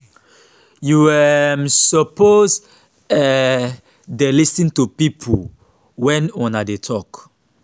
you um suppose um dey lis ten to pipo wen una dey tok.